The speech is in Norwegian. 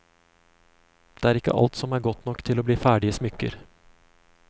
Det er ikke alt som er godt nok til å bli ferdige smykker.